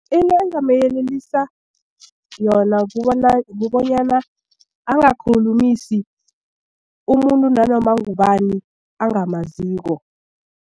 Into engingamyelelisa yona kubonyana angakhulumisana umuntu nanoma ngubani angamaziko.